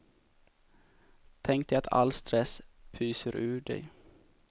Tänk dig att all stress pyser ur dig.